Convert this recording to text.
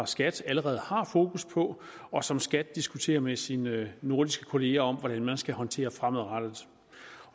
skat allerede har fokus på og som skat diskuterer med sine nordiske kollegaer hvordan man skal håndtere fremadrettet